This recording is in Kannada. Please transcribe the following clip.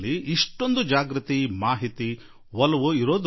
ಎಷ್ಟು ಜಾಗೃತಿ ಇದೆ ಮತ್ತು ಅದೆಷ್ಟು ಮಾಹಿತಿ ಇದೆ